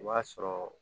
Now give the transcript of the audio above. I b'a sɔrɔ